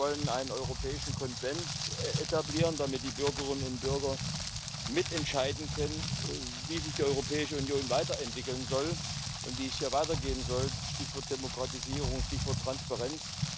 Wir wollen einen europäischen Konvent etablieren, damit die Bürgerinnen und Bürger mitentscheiden können, wie sich die Europäische Union weiterentwickeln soll und wie es hier weitergehen soll Stichwort Demokratisierung, Stichwort Transparenz.